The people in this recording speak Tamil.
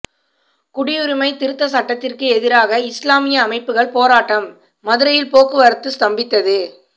குடியுரிமை திருத்தச் சட்டத்துக்கு எதிராக இஸ்லாமிய அமைப்புகள் போராட்டம் மதுரையில் போக்குவரத்து ஸ்தம்பித்தது